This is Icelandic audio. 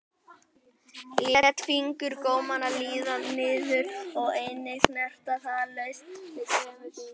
Lét fingurgómana líða niður að enninu, snerti það laust með tveimur fingrum.